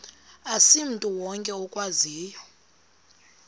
asimntu wonke okwaziyo